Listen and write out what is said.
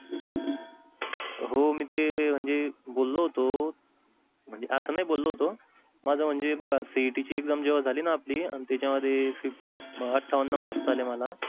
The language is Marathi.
हो म्हणजे ते बोललो होतो म्हणजे आस नाही बोललो होतो माझ म्हणजे हे बघा CET ची exam जेव्हा झाली ना आपली पण त्याच्या मध्ये आतठवानं marks आले मला.